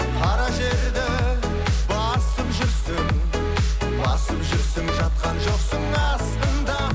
қара жерді басып жүрсің басып жүрсің жатқан жоқсың астында